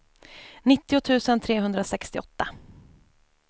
nittio tusen trehundrasextioåtta